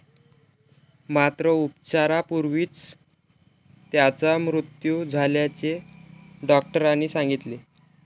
मात्र उपचारापूर्वीच त्याचा मृत्यू झाल्याचे डॉक्टरांनी सांगितले.